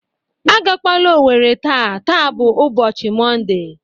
A ga-kwala Owerri taa! Taa bụ ụbọchi Monde.